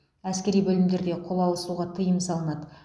әскери бөлімдерде қол алысуға тыйым салынады